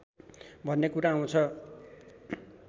भन्ने कुरा आउँछ